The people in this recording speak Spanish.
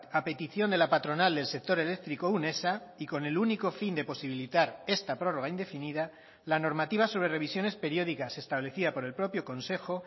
a petición de la patronal del sector eléctrico unesa y con el único fin de posibilitar esta prórroga indefinida la normativa sobre revisiones periódicas establecida por el propio consejo